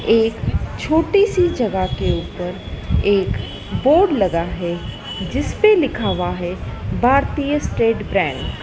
एक छोटी सी जगह के ऊपर एक बोर्ड लगा है जिसपे लिखा हुआ है भारतीय स्टेट बैंक --